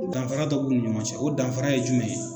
Danfara dɔ b'u ni ɲɔgɔn cɛ. O danfara ye jumɛn ye?